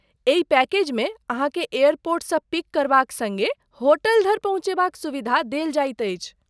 एहि पैकेजमे अहाँके एयरपोर्टसँ पिक करबाक सड़्गे होटल धरि पहुँचयबाक सुविधा देल जाइत अछि।